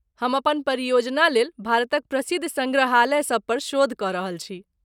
हम अपन परियोजनालेल भारतक प्रसिद्ध सङ्ग्रहालय सभ पर शोध कऽ रहल छी।